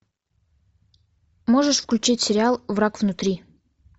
можешь включить сериал враг внутри